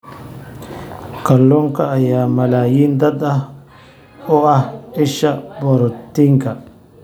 Kalluunka ayaa malaayiin dad ah u ah isha borotiinka.